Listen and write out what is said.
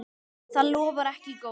Það lofar ekki góðu.